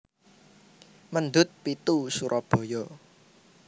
Mendut pitu Surabaya